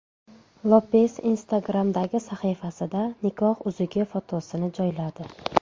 Lopes Instagram’dagi sahifasida nikoh uzugi fotosini joyladi .